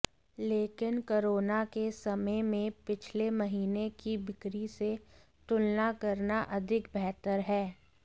लेकिन कोरोना के समय में पिछले महीने की बिक्री से तुलना करना अधिक बेहतर है